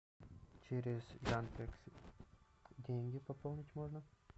через яндекс деньги пополнить можно